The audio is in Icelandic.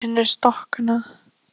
Þetta er ekki einu sinni storknað.